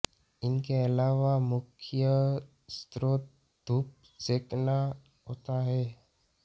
इनके अलावा मुख्य स्रोत धूप सेंकना होता है